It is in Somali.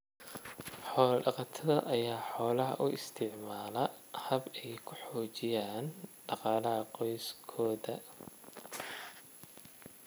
Xoolo-dhaqatada ayaa xoolaha u isticmaala hab ay ku xoojiyaan dhaqaalaha qoyskooda.